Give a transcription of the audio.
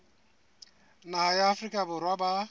naha ya afrika borwa ba